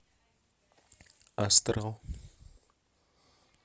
астрал